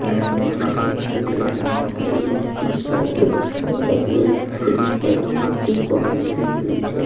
तला हुआ दिखाई दे रहा है | इसकी शॉप दिखाई दे रही है | टीन सेट में इसकी शॉप लगी हुई है ।